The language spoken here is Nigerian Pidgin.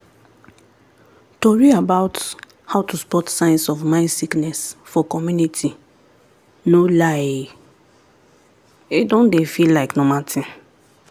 tori about how to spot signs of mind sickness for community no lie e **don dey feel like normal thing